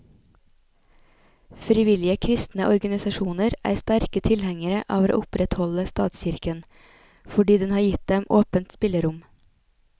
Frivillige kristne organisasjoner er sterke tilhengere av å opprettholde statskirken, fordi den har gitt dem åpent spillerom.